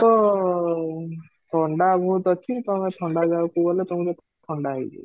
ତ ଥଣ୍ଡା ବହୁତ ଅଛି, ତୋମେ ଥଣ୍ଡା ଜାଗାକୁ ଗଲେ ତମକୁ ଥଣ୍ଡା ହେଇଯିବ